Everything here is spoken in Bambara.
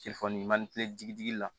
Telefɔni digi digi la